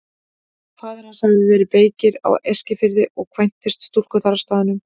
Faðir hans hafði verið beykir á Eskifirði og kvæntist stúlku þar á staðnum.